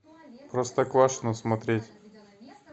простоквашино смотреть